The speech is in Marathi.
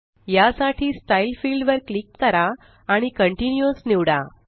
यासाठी स्टाईल फील्ड वर क्लिक करा आणि कंटिन्युअस निवडा